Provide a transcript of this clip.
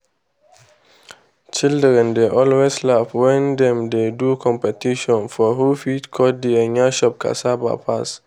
children dey always laugh wen dem dey do competition for who fit cut the "nyash" of cassava pass.